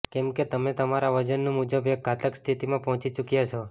કેમ કે તમે તમારા વજન મુજબ એક ઘાતક સ્થિતિમાં પહોચી ચુક્યા છો